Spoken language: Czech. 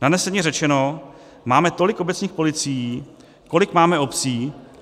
Nadneseně řečeno, máme tolik obecních policií, kolik máme obcí.